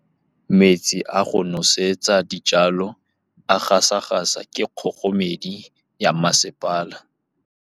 Metsi a go nosetsa dijalo a gasa gasa ke kgogomedi ya masepala.